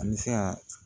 An bɛ se ka